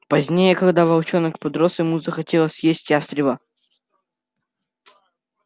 позднее когда волчонок подрос ему захотелось съесть ястреба